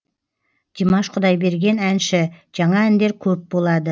димаш құдайберген әнші жаңа әндер көп болады